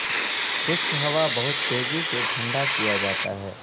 خشک ہوا بہت تیزی سے ٹھنڈا کیا جاتا ہے